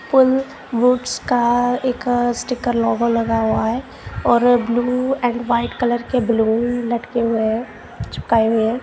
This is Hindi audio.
फुल वोट्स का एक स्टीकर लोगो लगा हुआ है और ब्लू एंड व्हाइट कलर के बैलून लटके हुए हैं चिपकाए हुए हैं।